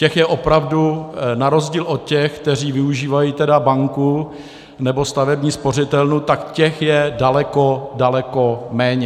Těch je opravdu, na rozdíl od těch, kteří využívají banku nebo stavební spořitelnu, tak těch je daleko, daleko méně.